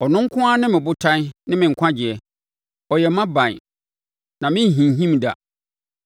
Ɔno nko ara ne me botan ne me nkwagyeɛ; ɔyɛ mʼaban, na merenhinhim da.